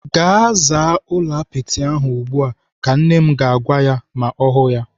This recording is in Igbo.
"Gaa zaa ụlọ apịtị ahụ ugbu a! " Ka nne m ga-agwa ya ma ọ hụụ ya.